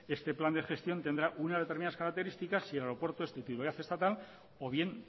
este plan de gestión tendrá unas determinadas características si el aeropuerto es titularidad estatal o bien